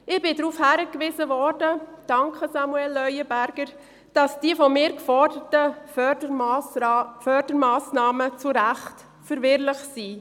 Ich wurde darauf hingewiesen – danke, Samuel Leuenberger –, dass die von mir geforderten Fördermassnahmen recht verwirrend sind.